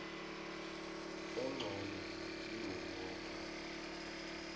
engcono kibo boke